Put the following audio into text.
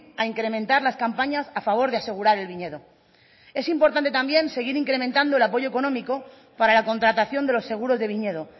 a incrementar las campañas a favor de asegurar el viñedo es importante también seguir incrementando el apoyo económico para la contratación de los seguros de viñedo